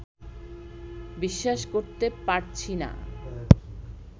বিশ্বাস করতে পারছি না